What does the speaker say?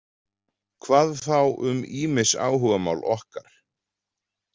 Hvað þá um ýmis áhugamál okkar.